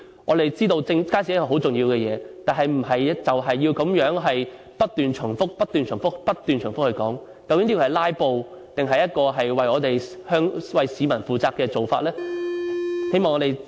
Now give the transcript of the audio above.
我們知道街市是很重要的設施，但並非要如此不斷重複地討論，究竟這是"拉布"，還是為香港市民負責的做法呢？